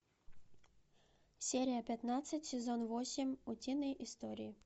серия пятнадцать сезон восемь утиные истории